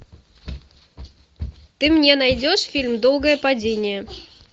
ты мне найдешь фильм долгое падение